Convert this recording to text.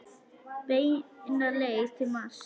Beina leið til Mars.